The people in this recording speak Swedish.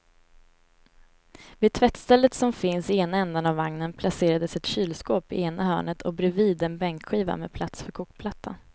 Vid tvättstället som finns i ena ändan av vagnen placerades ett kylskåp i ena hörnet och bredvid en bänkskiva med plats för kokplattan.